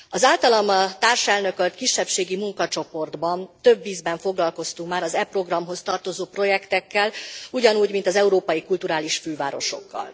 Az általam társelnökölt kisebbségi munkacsoportban több ízben foglalkoztunk már az e programhoz tartozó projektekkel, ugyanúgy, mint az európai kulturális fővárosokkal.